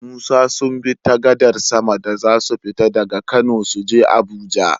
Musa sunbi ta kan gadar sama da zasu fita daka kano suje abuja